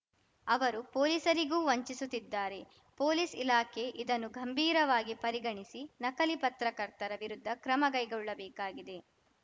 ಅವರು ಪೋಲಿಸರಿಗೂ ವಂಚಿಸುತ್ತಿದ್ದಾರೆ ಪೊಲೀಸ್‌ ಇಲಾಖೆ ಇದನ್ನು ಗಂಭೀರವಾಗಿ ಪರಿಗಣಿಸಿ ನಕಲಿ ಪತ್ರಕರ್ತರ ವಿರುದ್ಧ ಕ್ರಮಕೈಗೊಳ್ಳಬೇಕಾಗಿದೆ